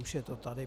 Už je to tady.